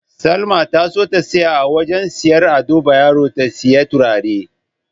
Salma ta so ta tsaya a wajen siyayyar Ado Bayero ta siyi turare.